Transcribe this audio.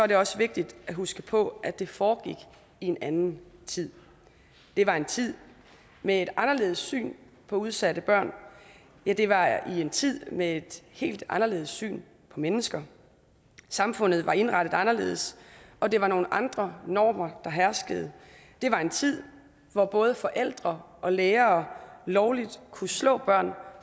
det også vigtigt at huske på at det foregik i en anden tid det var en tid med et anderledes syn på udsatte børn ja det var i en tid med et helt anderledes syn på mennesker samfundet var indrettet anderledes og det var nogle andre normer der herskede det var en tid hvor både forældre og lærere lovligt kunne slå børn